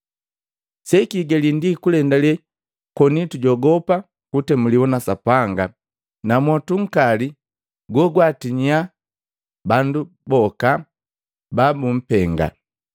Sekihigali ndi kulendale koni tujogopa kutemuliwa na Sapanga na mwotu nkali go gwaatinyisa bandu boka ba bumpenga.